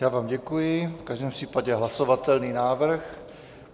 Já vám děkuji, v každém případě hlasovatelný návrh.